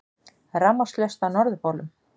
Rafmagnslaust á Norðurpólnum